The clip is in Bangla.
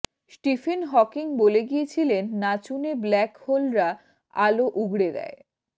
স্টিফেন হকিং বলে গিয়েছিলেন নাচুনে ব্ল্যাক হোলরা আলো উগড়ে দেয়